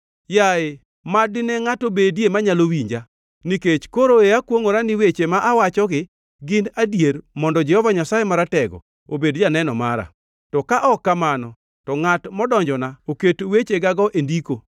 “Yaye, mad dine ngʼato bedie manyalo winja, nikech koro e akwongʼora ni weche ma awachogi gin adier mondo Jehova Nyasaye Maratego obed janeno mara; to ka ok kamano, to ngʼat modonjona oket wechegego e ndiko.